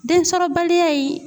Densɔrɔbaliya in